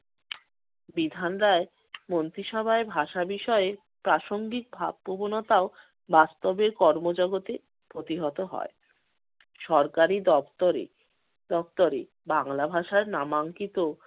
বিধান রায় মন্ত্রীসভায় ভাষা বিষয়ে প্রাসঙ্গিক ভাব-প্রবণতা ও বাস্তবে কর্মজগতে প্রতিহত হয়। সরকারি দপ্তরে দপ্তরে বাংলা ভাষার নামাঙ্কিত